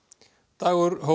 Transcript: Dagur